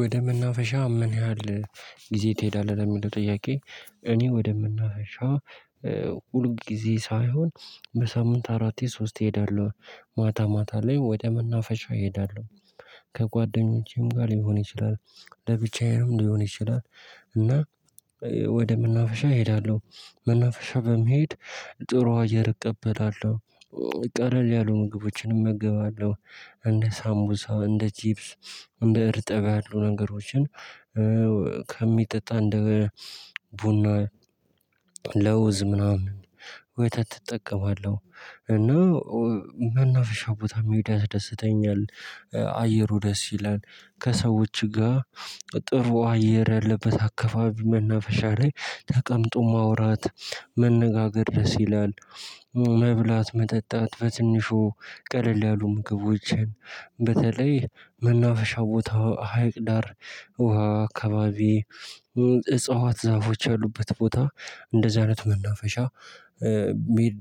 ወደመናፈሻ ምን ያህል ጊዜ ትሄዳለህ? ለሚለው ጥያቄ እኔ ወደ መናፈሻ ሁል ጊዜ ሳይሆን በሳምንት አራት ሶስት እሄዳለሁ ማታ ማታ ላይ ወደ መናፈሻ እሄዳለሁ ከጓደኞቼም ጋር ሊሆን ይችላል ለብቻዬም ሊሆን ይችላል እና ወደ መናፈሻ እሄዳለሁ። መናፈሻ በመሄድ ጥሩ አየር እቀበላለሁ ቀለል ያሉ ምግቦችን እመገባለሁ እንደ ሳምቡሳ እንደ ጂፕስ እንደ እርጥብ ያሉ ነገሮችን ከሚጠጣ እንደ ቡና ለውዝ ምናምን ወተት እጠቀማለሁ እና መናፍሻ ቦታ መሄድ ያስደስተኛል አየሩ ደስ ይላል ከሰዎች ጋር ጥሩ አየር ያለበት አክስብስቢ መናፈሻ ላይ ተቀምጦ ማውራት መነጋገር ድረስ ይላል፣ መብላት መጠጣት በትንሹ ቀለል ያሉ ምግቦችን በተለይ መናፈሻው ቦታው ሀይቅ ዳር ውሃ አካባቢ እጽዋት ዛፎች ያሉበት ቦታ እንደዛ አይነት መናፈሻ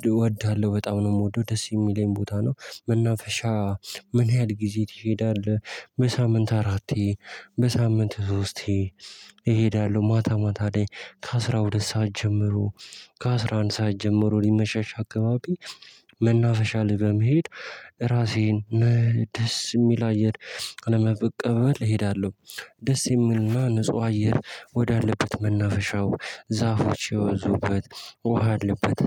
እወዳለሁ በጣም ነው የምወደው ደስ የሚለኝ ቦታ ነው መናፈሻ ምን ያህል ጊዜ ትሄዳለህ በሳምንት አራቴ በሳምንት ሶስቴ እሄዳለሁ ማታ ማታ ላይ ከአሥራ ሁለት ሰዓት ጀምሮ ከአሥራ አንድ ሰዓት ጀምሮ ሊመሻሻ አካባቢ መናፈሻ ላይ በመሄድ ራሴን ደስ የሚል አየር ለመቀበል እሄዳለሁ። ደስ የሚልና ንጹህ አየር ወዳለበት መናፈሻው ዛፎች የበዙበት ውሃ ያለበት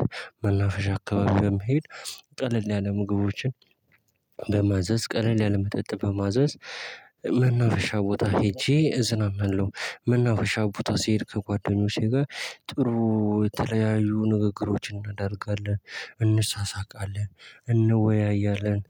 መናፈሻ አካባቢ በመሄድ ቀለል ያለ ምግቦችን በማዘዝ ቀለል ያለ መጠጥ በማዘዝ መናፈሻ ቦታ ሄጄ እዝናናለሁ። መናፈሻ ቦታ ሲሄድ ከጓደኞቼ ጋር ጥሩ የተለያዩ ንግግሮችን እናደርጋለን እንሳሳቃለን እንወያያለን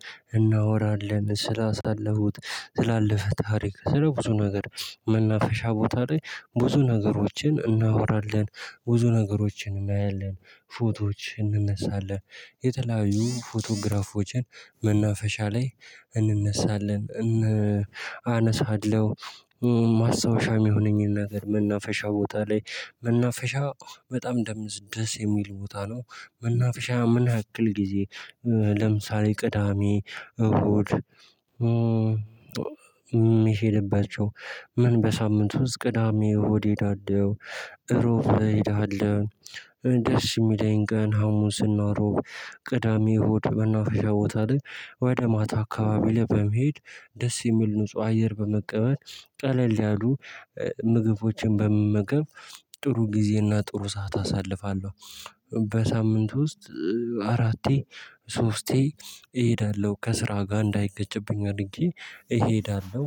እናወራለን ስላሳለፉት ትላለፈ ታሪክ ስለ ብዙ ነገር መናፈሻ ቦታ ላይ ብዙ ነገሮችን እናወራለን፣ ብዙ ነገሮችን እናያለን፣ ፎቶዎች እንነሳለን፣ የተለያዩ ፎቶግራፎችን መናፈሻ ላይ እንነሳለን እን አነሳለሁ ማስታወሻ የሚሆነኝን ነገር መናፈሻ ቦታ ላይ መናፈሻ በጣም ደዝ ደስ የሚል ቦታ ነው መናፈሻ ምን ያክል ጊዜ ለምሳሌ ቅዳሜ እሁድ የምሄድባቸው ምን በሳምንት ውስጥ ቅዳሜ እሁድ እሄዳለሁ እሮብ እሄዳለሁ ደስ የሚለኝ ቀን ሀሙስ እና እሮብ ቅዳሜ እሁድ መናፈሻ ቦታ ላይ ወደ ማታ አካባቢ ለመሄድ ደስ የሚል ንጹህ አየር በመቀበል ቀለል ያሉ ምግቦችን በመመገብ ጥሩ ጊዜና ጥሩ ሰዓት አሳልፋለሁ። በሳምንት ውስጥ አራቴ ሶስቴ እሄዳለሁ ከስራ ጋር እንዳይጋጭብኝ አድርጌ እሄዳለሁ።